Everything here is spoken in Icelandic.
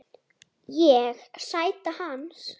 Ég: Sæta hans.